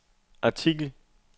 artikel